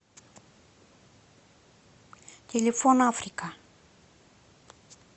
телефон африка